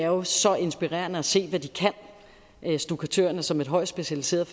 jo så inspirerende at se hvad stukkatørerne kan som højt specialiserede